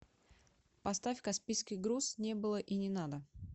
поставь каспийский груз не было и не надо